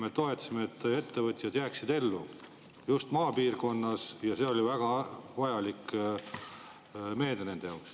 Me toetasime seda, et ettevõtjad jääksid ellu just maapiirkonnas, ja see oli väga vajalik meede nende jaoks.